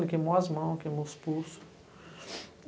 Ele queimou as mãos, queimou os pulsos.